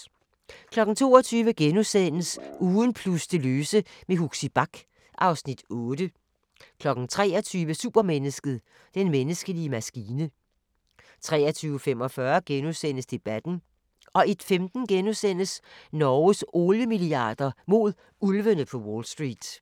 22:00: Ugen plus det løse med Huxi Bach (Afs. 8)* 23:00: Supermennesket: Den menneskelige maskine 23:45: Debatten * 01:15: Norges oliemilliarder – mod ulvene på Wall St. *